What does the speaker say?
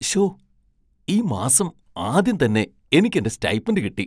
ശ്ശോ! ഈ മാസം ആദ്യംതന്നെ എനിക്കെന്റെ സ്റ്റൈപ്പൻഡ് കിട്ടി!